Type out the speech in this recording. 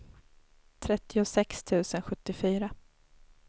trettiosex tusen sjuttiofyra